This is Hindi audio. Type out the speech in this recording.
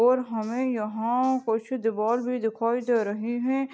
और हमें यहाँ कुछ दिवाल भी दिखाई दे रहे हैं।